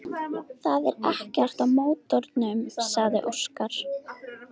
Það er ekkert að mótornum, sagði Óskar.